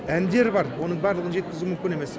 әндері бар оның барлығын жеткізу мүмкін емес